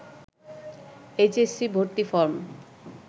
H S C ভর্তি form